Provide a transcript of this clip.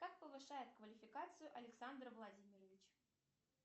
как повышает квалификацию александр владимирович